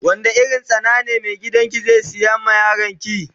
Wanda irin tsana ne mai gidan ki zai siya ma yaron ki.